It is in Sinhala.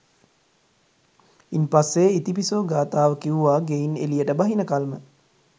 ඉන්පස්සෙ ඉතිපිසෝ ගාථාව කිව්වා ගෙයින් එළියට බහිනකල්ම